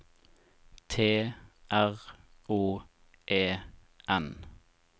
T R O E N